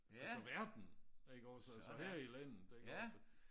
Altså verden iggås altså her i landet ikke også